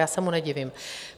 Já se mu nedivím.